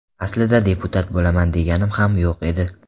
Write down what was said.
Aslida deputat bo‘laman deganim ham yo‘q edi.